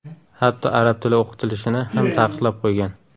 hatto arab tili o‘qitilishini ham taqiqlab qo‘ygan.